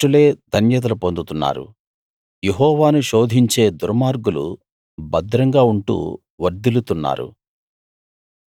గర్విష్ఠులే ధన్యతలు పొందుతున్నారు యెహోవాను శోధించే దుర్మార్గులు భద్రంగా ఉంటూ వర్ధిల్లుతున్నారు